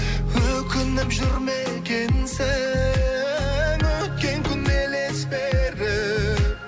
өкініп жүр ме екенсің өткен күн елес беріп